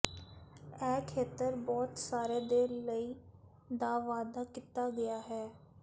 ਇਹ ਖੇਤਰ ਬਹੁਤ ਸਾਰੇ ਦੇ ਲਈ ਦਾ ਵਾਅਦਾ ਕੀਤਾ ਗਿਆ ਹੈ